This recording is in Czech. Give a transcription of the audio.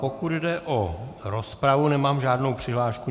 Pokud jde o rozpravu, nemám žádnou přihlášku.